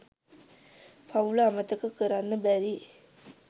පවුල අමතක කරන්න බැරි.